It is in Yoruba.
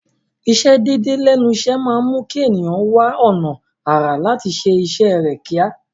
Ìsẹ déédéé lẹ́nu iṣẹ́ máa mú kí ẹ̀nìyàn wá ọ̀nà àrà láti ṣé iṣẹ́ rẹ̀ kíá.